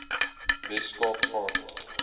wes kaap gaan